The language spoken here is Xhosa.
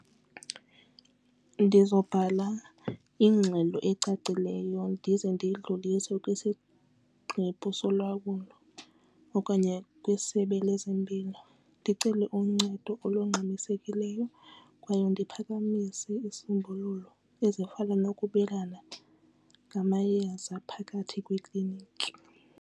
Ndizobhala ingxelo ecacileyo ndize ndiyidlulise kwingqeba solawulo okanye kwisebe lezempilo ndicele uncedo olungxamisekileyo kwaye ndiphakamise isisombululo ezifana nokubelana ngamayeza phakathi kwekliniki.